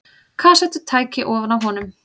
Kassettutæki ofan á honum.